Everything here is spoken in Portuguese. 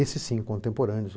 Esse sim, contemporâneos.